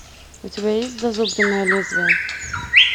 у тебя есть зазубренное лезвие